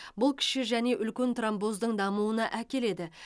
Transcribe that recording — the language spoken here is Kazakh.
бұл кіші және үлкен тромбоздың дамуына әкеледі